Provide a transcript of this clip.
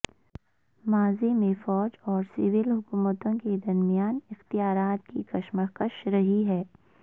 ماضی میں فوج اور سول حکومتوں کے درمیان اختیارات کی کشمکش رہی ہے